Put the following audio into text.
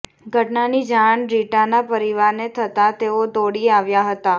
ઘટનાની જાણ રીટાના પરિવારને થતા તેઓ દોડી આવ્યા હતા